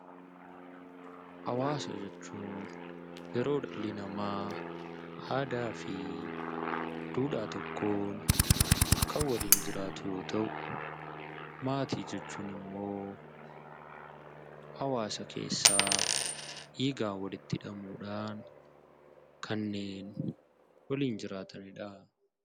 Hawaasa jechuun yeroo dhalli namaa aadaa fi duudhaa tokkoon kan waliin jiraatu yoo ta'u; Maatii jechuun immoo hawaasa keessaa dhiigaan walitti hidhamuu dhaan kanneen waliin jiraatani dha.